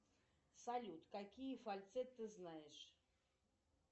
салют какие фальцеты ты знаешь